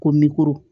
Ko